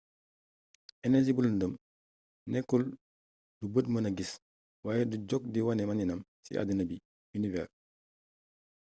energie bu lëndëm nekkul lu bët mëna gis waaye du jog ci wane maniinam ci àddina bi univers